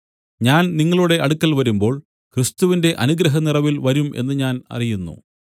ഞാൻ നിങ്ങളുടെ അടുക്കൽ വരുമ്പോൾ ക്രിസ്തുവിന്റെ അനുഗ്രഹനിറവിൽ വരും എന്നു ഞാൻ അറിയുന്നു